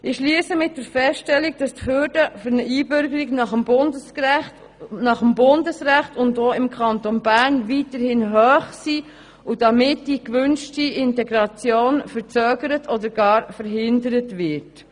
Ich schliesse mit der Feststellung, dass die Hürden für eine Einbürgerung nach dem Bundesrecht und auch im Kanton Bern weiterhin hoch sind und damit die erwünschte Integration verzögert oder gar verhindert wird.